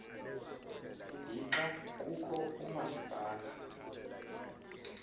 lixa kukho oomasipala